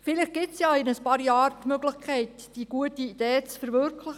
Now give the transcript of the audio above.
Vielleicht gibt es ja in ein paar Jahren die Möglichkeit, diese gute Idee zu verwirklichen.